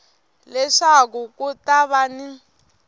leswaku ku ta va ni